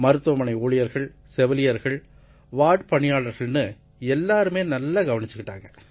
மருத்துவமனை ஊழியர்கள் செவிலியர்கள் வார்ட் பணியாளர்கள்னு எல்லாருமே நல்லா கவனிச்சுக்கிட்டாங்க